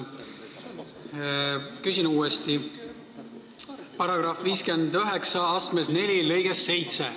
Küsin uuesti: § 594 lõige 7.